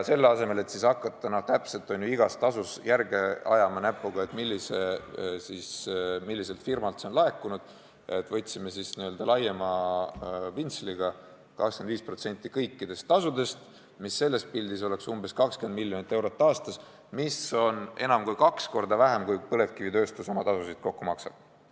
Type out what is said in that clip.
Selle asemel, et hakata täpselt näpuga järge ajama, milliselt firmalt on see tasu laekunud, võtsime n-ö laiema pintsliga 25% kõikidest tasudest, mis oleks umbes 20 miljonit eurot aastas, mida on enam kui kaks korda vähem, kui põlevkivitööstus kokku oma tasusid maksab.